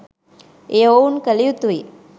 එය ඔවුන් කල යුතුයි